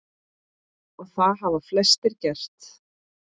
Og það hafa flestir gert.